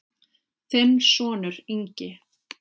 Þinn sonur, Ingi.